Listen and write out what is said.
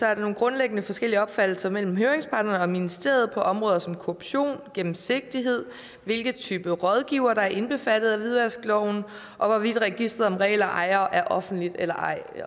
er nogle grundlæggende forskellige opfattelser mellem høringsparterne og ministeriet på områder som korruption gennemsigtighed hvilken type rådgivere der er indbefattet af hvidvaskloven og hvorvidt registreret over reelle ejere er offentligt eller ej